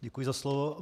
Děkuji za slovo.